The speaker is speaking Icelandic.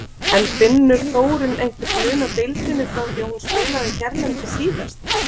En finnur Þórunn einhvern mun á deildinni frá því að hún spilaði hérlendis síðast?